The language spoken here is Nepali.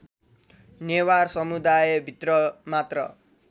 नेवार समुदाय भित्रमात्र